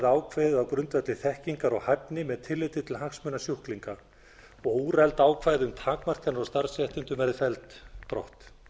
ákveðið á grundvelli þekkingar og hæfni með tilliti til hagsmuna sjúklinga og úreld ákvæði um takmarkanir á starfsréttindum verði felld brott